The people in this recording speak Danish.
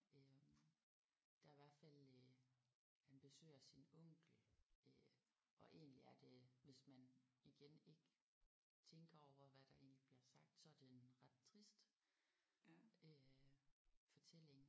Øh der er i hvert fald øh han besøger sin onkel øh og egentlig er det hvis man igen ikke tænker over hvad der egentlig bliver sagt så er den ret trist øh fortælling